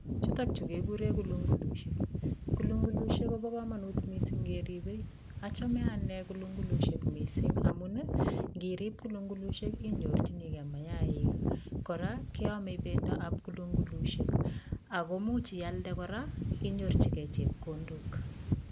Chutokchu kekure kulungulushek. Kulungulushek kopo komonut mising keripe, achame ane kulungulushek mising amun nkirip kulungulushek inyorchinikei mayaik, kora keame bendoap kulungulushek akomuch ialde kora inyorchikei chepkondok.